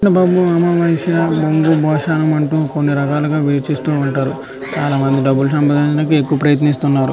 అమ్మ బాబాయ్ అమావాస్య బొంగు బోసనం అంటూ కొన్ని రకాలుగా వెట్ చేస్తూ ఉంటారు. చాలామంది డబ్బులు సంపాదించడానికి ఎక్కువ ప్రయత్నిస్తున్నారు.